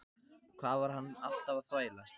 Hvað var hann alltaf að þvælast?